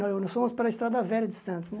Nós fomos para a Estrada Velha de Santos, né?